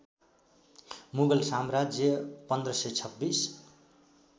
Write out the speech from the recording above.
मुगल साम्राज्य १५२६